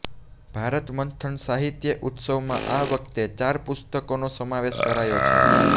ભારત મંથન સાહિત્ય ઉત્સવમાં આ વખતે ચાર પુસ્તકોનો સમાવેશ કરાયો છે